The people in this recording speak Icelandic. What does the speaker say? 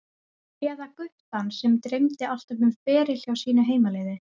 Eða guttann sem dreymdi alltaf um feril hjá sínu heimaliði?